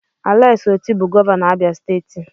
Alex Otti bụ gọvanọ Abia steeti.